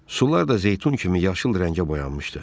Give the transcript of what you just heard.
Sular da zeytun kimi yaşıl rəngə boyanmışdı.